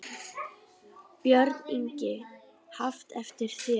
Björn Ingi: Haft eftir þér?